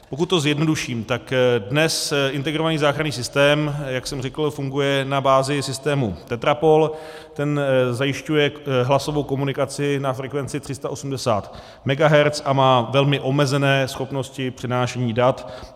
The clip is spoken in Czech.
Pokud to zjednoduším, tak dnes integrovaný záchranný systém, jak jsem řekl, funguje na bázi systému Tetrapol, ten zajišťuje hlasovou komunikaci na frekvenci 380 MHz a má velmi omezené schopnosti přenášení dat.